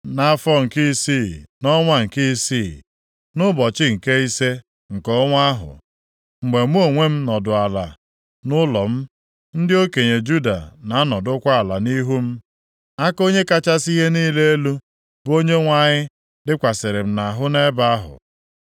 Nʼafọ nke isii, nʼọnwa nke isii, nʼụbọchị nke ise nke ọnwa ahụ, mgbe mụ onwe m nọdụ ala nʼụlọ m, ndị okenye Juda na-anọdụkwa ala nʼihu m, aka Onye kachasị ihe niile elu, bụ Onyenwe anyị dịkwasịrị m nʼahụ nʼebe ahụ.